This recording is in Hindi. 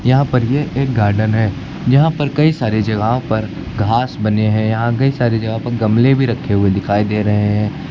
यहां पर ये एक गार्डन है। यहां पर कई सारे जगह पर घास बने हैं। यहां कई सारे जगह पर गमले भी रखे हुए दिखाई दे रहे हैं।